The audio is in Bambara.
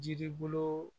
Jiri bolo